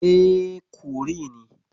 E, curry ne.